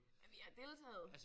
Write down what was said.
Nej men vi har deltaget